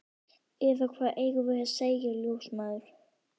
Eða hvað eigum við að segja, ljósmæður?